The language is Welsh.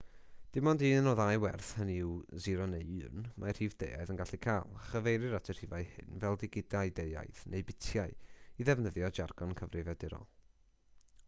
dim ond un o ddau werth hynny yw 0 neu 1 mae rhif deuaidd yn gallu cael a chyfeirir at y rhifau hyn fel digidau deuaidd neu bitiau i ddefnyddio jargon cyfrifiadurol